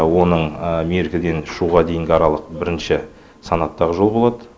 оның меркіден шуға дейінгі аралық бірінші санаттағы жол болады